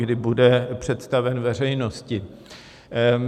Kdy bude představen veřejnosti?